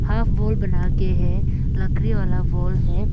Half wall बनाके है लकड़ी वाला वॉल है।